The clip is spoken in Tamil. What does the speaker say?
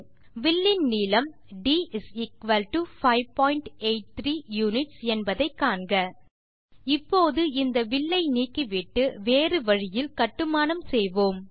வில்லின் நீளம் d583 யுனிட்ஸ் என்பதை காண்க இப்போது இந்த வில்லை நீக்கிவிட்டு வேறு வழியில் கட்டுமானம் செய்வோம்